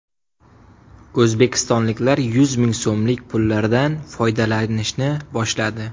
O‘zbekistonliklar yuz ming so‘mlik pullardan foydalanishni boshladi .